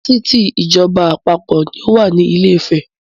Fásitì ìjọba àpapọ̀ ni ó wà ní ilé ìfẹ́.